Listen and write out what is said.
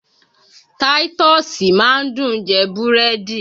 Táítọ́ọ́sì máa ń dùn jẹ búrẹ́dì